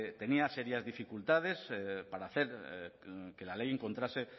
tenía serias dificultades para hacer que la ley encontrase